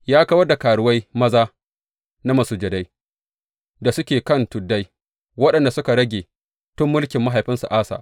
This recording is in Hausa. Ya kawar da karuwai maza na masujadai da suke kan tuddai waɗanda suka rage tun mulkin mahaifinsa Asa.